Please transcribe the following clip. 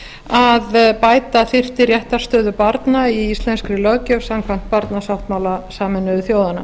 að bæta þyrfti réttarstöðubarna í íslenskri löggjöf samkvæmt barnasáttmála sameinuðu þjóðanna